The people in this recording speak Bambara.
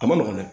A ma nɔgɔn dɛ